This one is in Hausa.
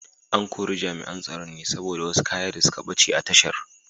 An kori Jami’an Tsaron ne saboda wasu kaya da suka bace a tashar.